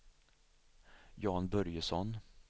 Jan Börjesson